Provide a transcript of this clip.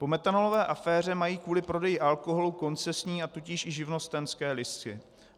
Po metanolové aféře mají kvůli prodeji alkoholu koncesní, a tudíž i živnostenské listy.